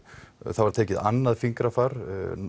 það var tekið annað fingrafar